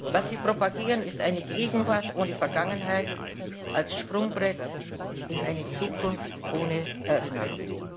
Was sie propagieren, ist eine Gegenwart ohne Vergangenheit als Sprungbrett in eine Zukunft ohne Erinnerung.